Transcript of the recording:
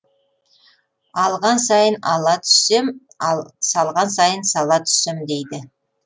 алған сайын ала түссем ал салған сайын сала түссем дейді